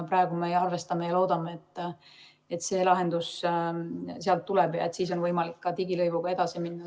Praegu me arvestame ja loodame, et see lahendus sealt tuleb ja et siis on võimalik ka digilõivuga edasi minna.